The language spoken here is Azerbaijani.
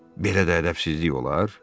Belə də ədəbsizlik olar?